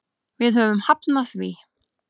Við höfum hafnað því.